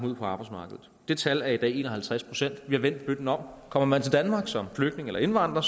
ud på arbejdsmarkedet det tal er i dag en og halvtreds procent vi har vendt bøtten om kommer man til danmark som flygtning eller indvandrer